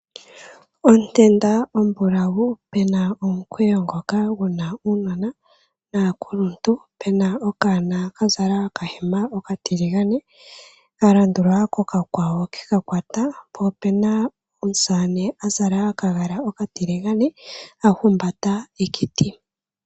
Otenda ombulawu pu na omukweyo ngoka gu na uunona naakuluntu, pu na okanona ka zala okahema okatiligane, ka landulwa kokakwawo ke ka kwata, po opu na omusamane a zala okagala okatiligane a humbata ekiti.